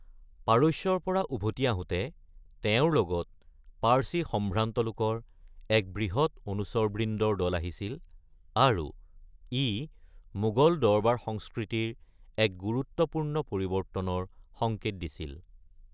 পাৰস্যৰ পৰা তেওঁ উভতি আহোতে লগত পাৰ্চী সম্ভ্ৰান্ত লোকৰ এক বৃহৎ অনুচৰবৃন্দৰ দল আহিছিল আৰু ই মোগল দৰবাৰ সংস্কৃতিৰ এক গুৰুত্বপূৰ্ণ পৰিৱৰ্তনৰ সংকেত দিছিল।